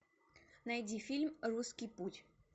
найди фильм русский путь